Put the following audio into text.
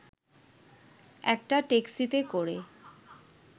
একটা ট্যাক্সিতে করে